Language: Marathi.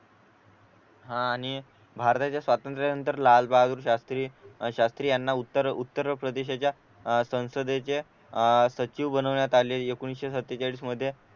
हा आणि भारताच्या स्वातंत्र्यानंतर लालबहादूर शास्त्री शास्त्री यांना उत्तर उत्तर प्रदेशाच्या अह संसदेचे अह सचिव बनवण्यात आले एकोणीशे सत्तेचाळीस मध्ये